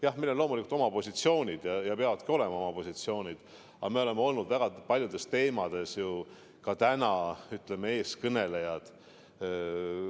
Jah, meil on loomulikult oma positsioonid ja peavadki olema oma positsioonid, aga me oleme olnud väga paljudes teemades ka täna, ütleme, eeskõnelejad.